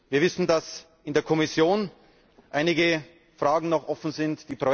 Wir wissen, dass in der Kommission noch einige Fragen offen sind.